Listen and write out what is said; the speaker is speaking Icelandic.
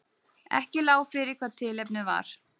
Ekki lá fyrir hvað tilefnið var